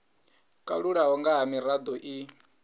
kalulaho nga ha mirado i